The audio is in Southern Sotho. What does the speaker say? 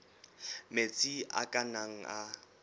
metsi a ka nnang a